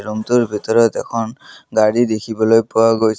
ৰূমটোৰ ভিতৰত এখন গাড়ী দেখিবলৈ পোৱা গৈছে।